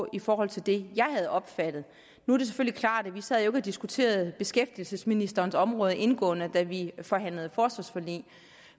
i forhold til det jeg havde opfattet nu er det selvfølgelig klart at vi ikke sad og diskuterede beskæftigelsesministerens område indgående da vi forhandlede forsvarsforlig